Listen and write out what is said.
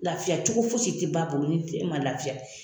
Lafiya cogo fosi tI ba bolo ni den ma lafiya.